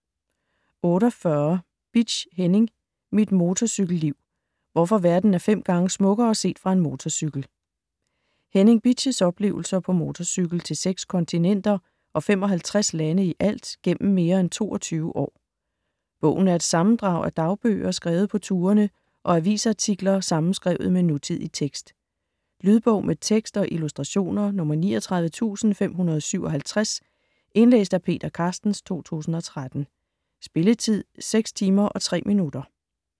48 Bitsch, Henning: Mit motorcykelliv: hvorfor verden er fem gange smukkere set fra en motorcykel Henning Bitsch's oplevelser på motorcykel til seks kontinenter, og 55 lande ialt, gennem mere end 22 år. Bogen er et sammendrag af dagbøger skrevet på turene og avisartikler sammenskrevet med nutidig tekst. Lydbog med tekst og illustrationer 39557 Indlæst af Peter Carstens, 2013. Spilletid: 6 timer, 3 minutter.